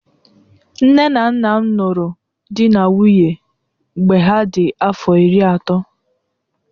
Nne na Nnam ruru dị na nwunye mgbe ha dị afọ iri atọ.